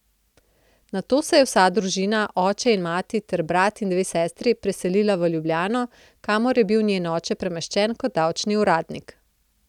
Nato se je vsa družina, oče in mati ter brat in dve sestri, preselila v Ljubljano, kamor je bil njen oče premeščen kot davčni uradnik.